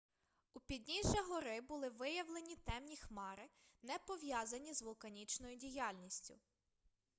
у підніжжя гори були виявлені темні хмари не пов'язані з вулканічною діяльністю